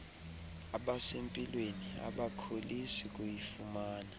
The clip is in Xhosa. abasempilweni abakholisi kuyifumana